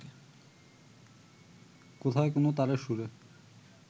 কোথায় কোন তারের সুরে